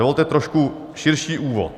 Dovolte trošku širší úvod.